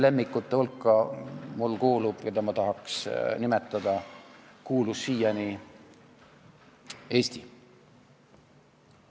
Lemmikute hulka, keda ma tahaks nimetada, kuulus siiani Eesti.